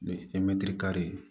E mɛtiri kari